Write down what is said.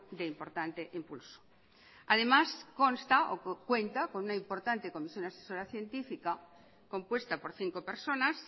de importante impulso además consta o cuenta con una importante comisión asesora científica compuesta por cinco personas